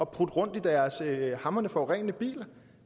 prutte rundt i deres hamrende forurenende biler